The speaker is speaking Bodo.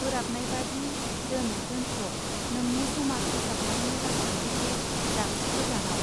बोराबनायबादि दोन दोनथ' नोंनि समाज फोसाबनायनि राजखान्थिखौ दाबसि गोजानाउ।